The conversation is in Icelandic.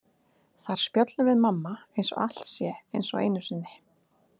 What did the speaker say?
Þar spjöllum við mamma eins og allt sé eins og einu sinni.